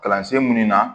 Kalansen minnu na